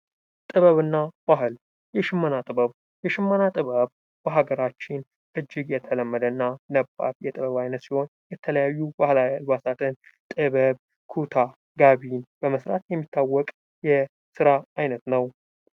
ጥበብ እና ባህል የሽመና ጥበብ:- በሀገራችን እጅግ የተለመደ እና ነባር የጥበብ አይነት ሲሆን የተለያዩ ባህላዊ አልባሳትን ጥበብ፣ ኩታ፣ ጋቢ በመስራት የሚታወቅ የስራ አይነት ነው።